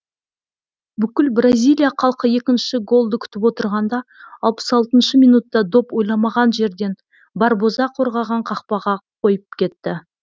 бүкіл бразилия халқы екінші голды күтіп отырғанда алпыс алтыншы минутта доп ойламаған жерден барбоза қорғаған қақпаға қойып кетті